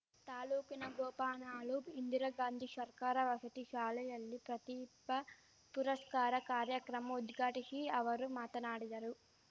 ತಾಲೂಕಿನ ಗೋಪನಾಳು ಇಂದಿರಾಗಾಂಧಿ ಷರ್ಕಾರ ವಸತಿ ಶಾಲೆಯಲ್ಲಿ ಪ್ರತಿಪಾ ಪುರಶ್ಕಾರ ಕಾರ್ಯಕ್ರಮ ಉದ್ಘಾಟಿಶಿ ಅವರು ಮಾತನಾಡಿದರು